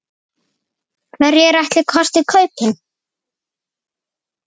Hverjir ætli kosti kaupin?